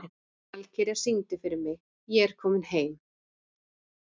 Valkyrja, syngdu fyrir mig „Ég er kominn heim“.